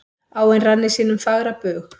Áin rann í sínum fagra bug.